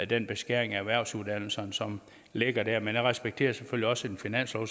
den beskæring af erhvervsuddannelserne som ligger der jeg respekterer selvfølgelig også en finanslov